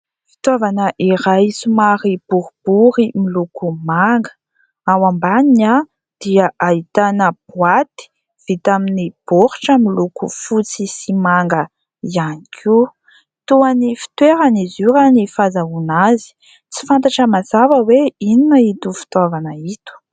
Fitaovana iray somary boribory miloko manga. Ao ambaniny dia ahitana boaty vita amin'ny baoritra miloko fotsy sy manga ihany koa. Toa ny fitoerany izy io raha ny fahazahoana azy. Tsy fantatra mazava hoe inona ito fitaovana ito.